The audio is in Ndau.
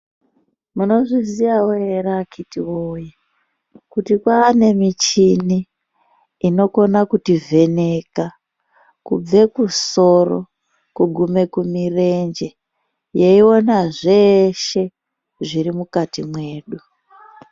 Munozviziyawo ere akiti woyee kuti kwaane michini inokona kutivheneka kubve kusoro kugume kumirenje yeiona zveshe zvirimukati mwedu.